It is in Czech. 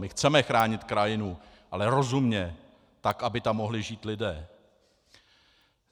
My chceme chránit krajinu, ale rozumně, tak aby tam mohli žít lidé.